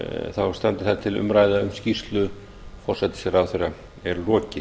þá standi það til að umræðu um skýrslu forsætisráðherra sé lokið